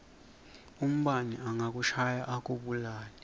umbane angakushaya akubulale